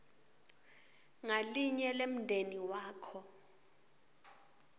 ngalinye lemndeni wakho